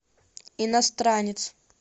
иностранец